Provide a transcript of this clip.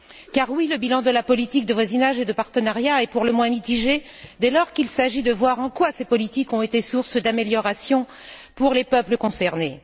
Car oui, le bilan de la politique de voisinage et de partenariat est pour le moins mitigé dès lors qu'il s'agit de voir en quoi ces politiques ont été source d'amélioration pour les peuples concernés.